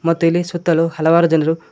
ಮತ್ತು ಇಲ್ಲಿ ಸುತ್ತಲು ಹಲವಾರು ಜನ್ರು--